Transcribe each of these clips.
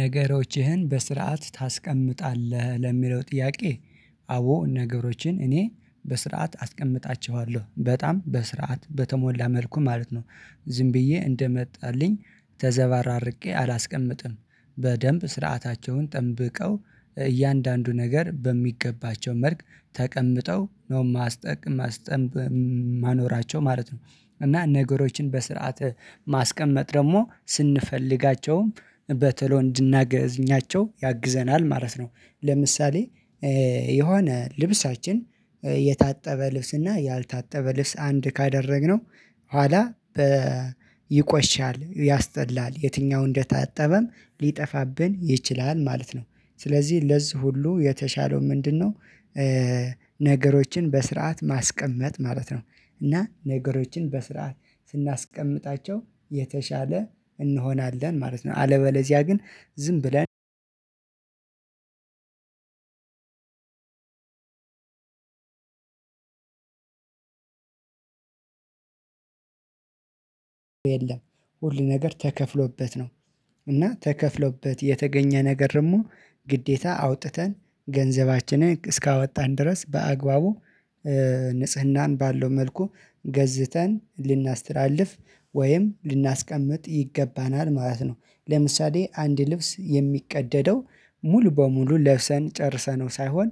ነገሮችህን በስርዓት ታስቀምጣለህ ለሚለው ጥያቄ? አዎ ነገሮችን እኔ በስርዓት አስቀምጣቸዋለሁ በጣም በስርዓት በተሞላ መልኩ ማለት ነው። ዝም ብዬ እንደመጣልኝ ተዘባርቄ አላስቀምጥም። በደንብ ስርዓታቸውን ጠብቀው እያንዳንዱ ነገር በሚገባቸው መልክ ተቀምጠው ነው የማስጠቅም ማስጠንብ ማኖራቸው ማለት ነው። እና ነገሮችን በስርዓት ማስቀመጥ ደግሞ ስንፈልጋቸውም በተሎ እንድናገኛቸው ያግዘናል ማለት ነው። ለምሳሌ የሆነ ልብሳችን የታጠበ ልብስ እና ያልታጠበ ልብስ አንድ ካደረግነው ኋላ በ ይቆሽሻል ያስጠላል የትኛው እንደታጠበም ሊጠፋብን ይችላል ማለት ነው ስለዚህ ለዚህ ሁሉ የተሻለው ምንድነው? ነገሮችን በስርዓት ማስቀመጥ ማለት ነው። እና ነገሮችን በስርዓት ስናስቀምጣቸው የተሻለ እንሆናለን ማለት ነው። አለበለዚያ ግን ዝም ብለን የለም ሁል ነገር ተከፍሎበት ነው። እና ተከፍሎበት የተገኘ ነገር ደግሞ ግዴታ አውጥተን ገንዘባችንን እስካወጣን ድረስ በአግባቡ ንጽህናን ባለው መልኩ ገዝተን ልናስተላልፍ ወይም ልናስቀምጥ ይገባናል ማለት ነው። ለምሳሌ አንድ ልብስ የሚቀደደው ሙሉ በሙሉ ለብሰን ጨርሰነው ሳይሆን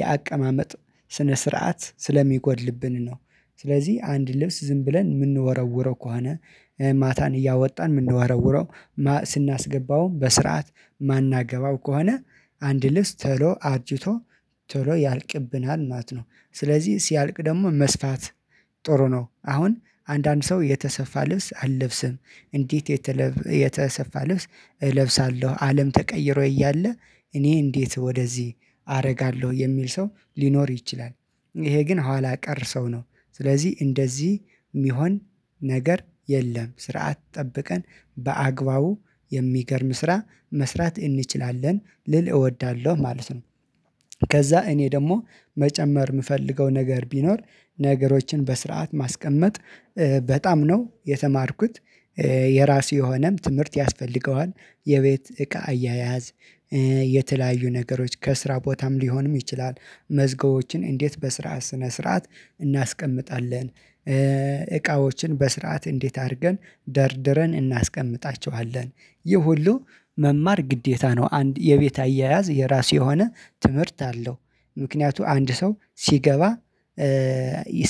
የአቀማመጥ ስነ ስርዓት ስለሚጎድልብን ነው ስለዚህ አንድ ልብስ ዝም ብለን የምንወረውረው ከሆነ ማታን እያወጣን የምንወረውረው ስናስገባውም በስርዓት የማናገባው ከሆነ አንድ ልብስ ተሎ አርጅቶ ቶሎ ያልቅብናል ማለት ነው። ስለዚህ ሲያልቅ ደግሞ መስፋት ጥሩ ነው። አሁን አንዳንድ ሰው የተሰፋ ልብስ አልለብስም እንዴት የተሰፋ ልብስ እለብሳለሁ አለም ተቀይሮ እያለ እኔ እንዴት ወደዚህ አረጋለሁ የሚል ሰው ሊኖር ይችላል። ይሄ ግን ኋላ ቀር ሰው ነው። ስለዚህ እንደዚህ የሚሆን ነገር የለም ስርዓት ጠብቀን በአግባቡ የሚገርም ስራ መስራት እንችላለን ልል እወዳለሁ ማለት ነው። ከዛ እኔ ደግሞ መጨመር የምፈልገው ነገር ቢኖር ነገሮችን በስርዓት ማስቀመጥ በጣም ነው የተማርኩት የራሱ የሆነም ትምህርት ያስፈልገዋል የቤት እቃ አያያዝ የተለያዩ ነገሮች ከስራ ቦታም ሊሆንም ይችላል። መዝገቦችን እንዴት በስራ ስነ ስርዓት እናስቀምጣለን። እቃዎችን በስርዓት እንዴት አርገን ደርድረን እናስቀምጣቸዋለን ይህ ሁሉ መማር ግዴታ ነው አንድ የቤት አያያዝ የራሱ የሆነ ትምህርት አለው። ምክንያቱ አንድ ሰው ሲገባ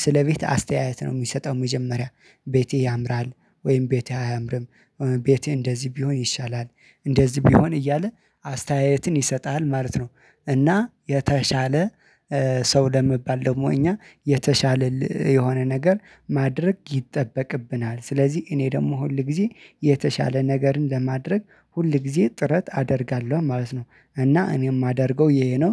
ስለ ቤት አስተያየት ነው የሚሰጠው መጀመሪያ ቤቴ ያምራል ወይም ቤቴ አያምርም። ቤቴ እንደዚህ ቢሆን ይሻላል እንደዚህ ቢሆን እያለ አስተያየትን ይሰጥሃል ማለት ነው። እና የተሻለ ሰው ለመባል ደግሞ እኛ የተሻለ የሆነ ነገር ማድረግ ይጠበቅብናል ስለዚህ እኔ ደግሞ ሁል ጊዜ የተሻለ ነገርን ለማድረግ ሁል ጊዜ ጥረት አደርጋለሁ ማለት ነው። እና እኔ የማደርገው ይሄ ነው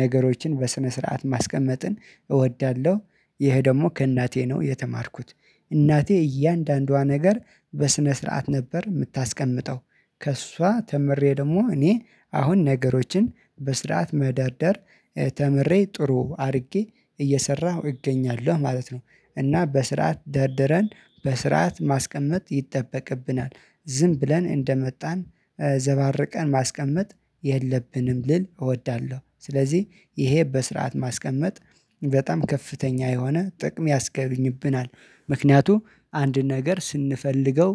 ነገሮችን በስነ ስርዓት ማስቀመጥን እወዳለሁ። ይሄ ደግሞ ከእናቴ ነው የተማርኩት እናቴ እያንዳንዷ ነገር በስነ ስርዓት ነበር የምታስቀምጠው ከእሷ ተምሬ ደግሞ እኔ አሁን ነገሮችን በስርዓት መደርደር ተምሬ ጥሩ አድርጌ እየሰራሁ እገኛለሁ ማለት ነው። እና በስርዓት ደርድረን በስርዓት ማስቀመጥ ይጠበቅብናል ዝም ብለን እንደመጣን ዘባርቀን ማስቀመጥ የለብንም ልል እወዳለሁ ስለዚህ ይሄ በስርዓት ማስቀመጥ በጣም ከፍተኛ የሆነ ጥቅም ያስኝብናል። ምክንያቱም አንድ ነገር ስንፈልገው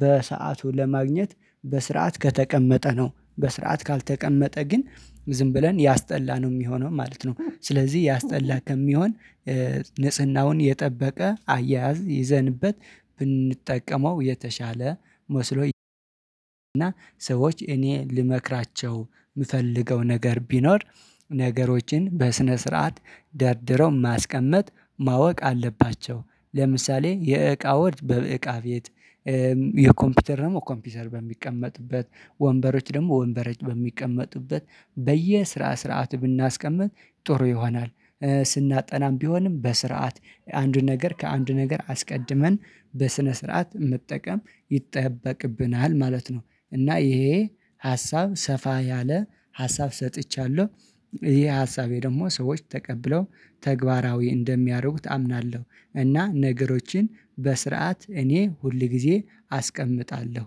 በሰአቱ ለማግኘት በስርዓት ከተቀመጠ ነው በስርዓት ካልተቀመጠ ግን ዝም ብለን ያስጠላ ነው የሚሆነው ማለት ነው። ስለዚህ ያስጠላ ከሚሆን ንጽህናውን የጠበቀ አያያዝ ይዘንበት ብንጠቀመው የተሻለ መስሎ እና ሰዎች እኔ ልመክራቸው የምፈልገው ነገር ቢኖር። ነገሮችን በስነ ስርዓት ደርድረው ማስቀመጥ ማወቅ አለባቸው ለምሳሌ የእቃዎች በእቃ ቤት የኮምፒውተር ደግሞ ኮምፒውተር በሚቀመጥበት ወንበሮች ደግሞ ወንበረች በሚቀመጡበት በየስራ ስርዓት ብናስቀምጥ ጥሩ ይሆናል። ስናጠናም ቢሆንም በስርዓት አንዱን ነገር ከአንዱ ነገር አስቀድመን በስነ ስርዓት መጠቀም ይጠበቅብናል ማለት ነው። እና ይሄ ሀሳብ ሰፋ ያለ ሀሳብ ሰጥቻለሁ። ይሄ ሀሳቤ ደግሞ ሰዎች ተቀብለው ተግባራዊ እንደሚያደርጉት አምናለሁ እና ነገሮችን በስርዓት እኔ ሁል ጊዜ አስቀምጣለሁ